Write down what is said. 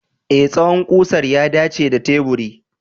E, tsawon ƙusar ya dace da teburi.